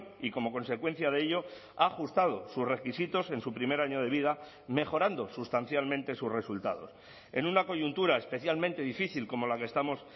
y como consecuencia de ello ha ajustado sus requisitos en su primer año de vida mejorando sustancialmente sus resultados en una coyuntura especialmente difícil como la que estamos